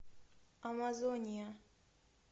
амазония